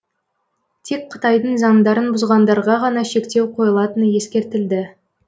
тек қытайдың заңдарын бұзғандарға ғана шектеу қойылатыны ескертілді